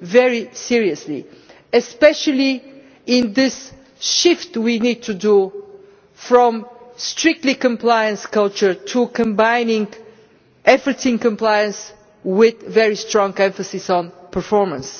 very seriously, especially in this shift we need to make from a strictly compliance based culture to combining efforts in compliance with very strong emphasis on performance.